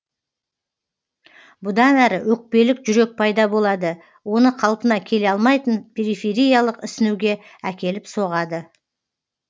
бұдан әрі өкпелік жүрек пайда болады оны қалпына келе алмайтын перифериялық ісінуге әкеліп соғады